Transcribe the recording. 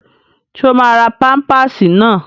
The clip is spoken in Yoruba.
Ṣé o máa ra pámpásì náà?